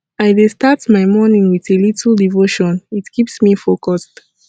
i dey start my morning with a little devotion it keeps me focused